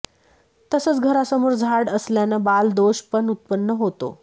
तसंच घरासमोर झाड असल्यानं बाल दोष पण उत्पन्न होतो